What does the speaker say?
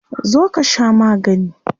Zo ka sha magani.